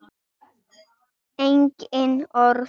Engin orð.